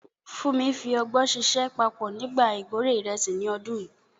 Funmi fi ọgbọ́n ṣiṣẹ́ papọ̀ nígbà ìkórè ìrẹsì ní ọdún yìí.